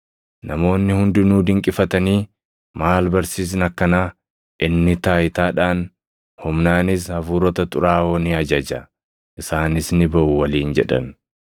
Namoonni hundinuu dinqifatanii, “Maal barsiisni akkanaa! Inni taayitaadhaan, humnaanis hafuurota xuraaʼoo ni ajaja; isaanis ni baʼu” waliin jedhan.